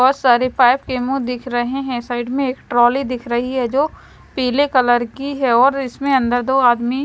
बहुत सारे पाइप के मुंह दिख रहे हैं साइड में एक ट्राली दिख रही है जो पीले कलर की है और इसमें अन्दर दो आदमी--